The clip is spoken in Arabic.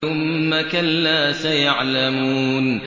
ثُمَّ كَلَّا سَيَعْلَمُونَ